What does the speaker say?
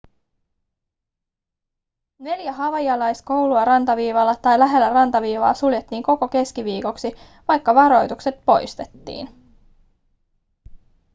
neljä havaijilaiskoulua rantaviivalla tai lähellä rantaviivaa suljettiin koko keskiviikoksi vaikka varoitukset poistettiin